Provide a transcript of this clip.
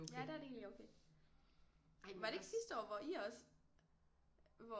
Ja der er det egentlig okay ej var det ikke sidste år hvor I også hvor